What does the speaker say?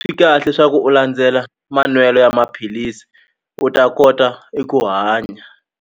Swi kahle swa ku u landzela manwelo ya maphilisi u ta kota eku hanya.